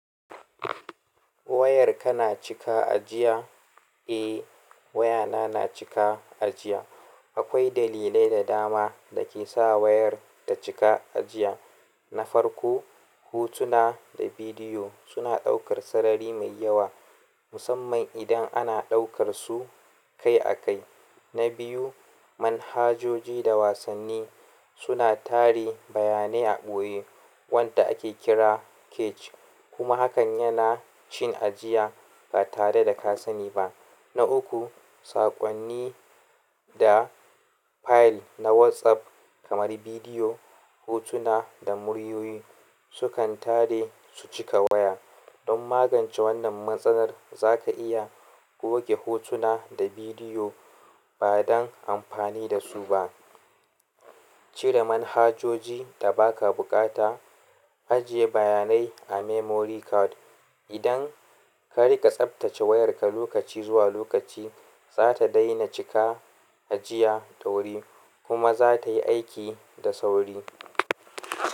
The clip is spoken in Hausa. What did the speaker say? Wayar ka na cika a jiya. Eh wayana na cika ajiya. Akwai dalilai da dama da ke sa wayar ta cika ajiya. Na farko, hotuna da bidiyo suna ɗaukar sarari mai yawa musamman idan ana ɗaukar su kai a kai. Na biyu manhajoji da wasanni suna tari bayanai a ɓoye wanda ake kira cache kuma hakan yana cin ajiya ba tare da ka sani ba. Na uku, saƙonni da fayil na WhatsApp kamar bidiyo, hotuna da muryoyi sukan tare su cika waya. Don magance wannan matsalar zaka iya goge hotuna da bidiyo ba don amfani dasu ba, cire manhajoji da ba ka buƙata, ajiye bayanai a memory card. Idan ka riƙa tsaftace wayarka lokaci zuwa lokaci, za ta daina cika ajiya da wuri kuma za tai aiki da sauri.